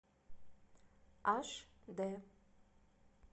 аш д